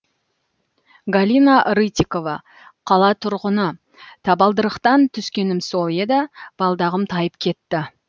галина рытикова қала тұрғыны табалдырықтан түскенім сол еді балдағым тайып кетті